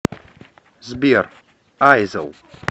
сбер айзел